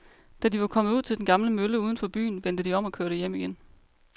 Da de var kommet ud til den gamle mølle uden for byen, vendte de om og kørte hjem igen.